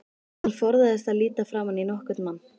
Hann forðaðist að líta framan í nokkurn mann.